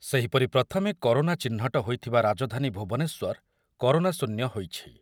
ସେହିପରି ପ୍ରଥମେ କରୋନା ଚିହ୍ନଟ ହୋଇଥିବା ରାଜଧାନୀ ଭୁବନେଶ୍ୱର କରୋନା ଶୂନ୍ୟ ହୋଇଛି।